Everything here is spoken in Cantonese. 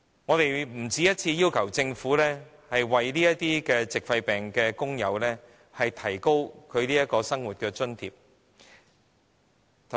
我們不僅一次要求政府提高這些矽肺病的工友的生活津貼。